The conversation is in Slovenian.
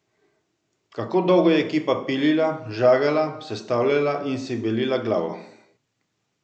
Kako dolgo je ekipa pilila, žagala, sestavljala in si belila glavo?